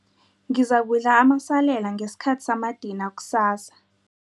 Ngizakudla amasalela ngesikhathi samadina kusasa.